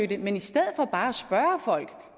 det men i stedet for bare at spørge folk